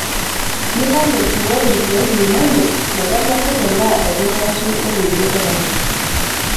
Mipal eit iwok ilkeek linono meteleku tenaa olkitarri otejo tapala.